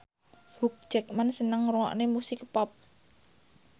Hugh Jackman seneng ngrungokne musik pop